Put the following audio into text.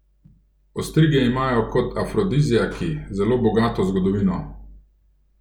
Ostrige imajo kot afrodiziaki zelo bogato zgodovino.